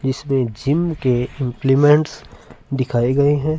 इसमें जिम के इम्प्लीमेंट्स दिखाई गए है।